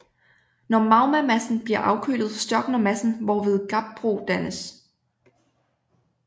Når magmamassen bliver afkølet størkner massen hvorved gabbro dannes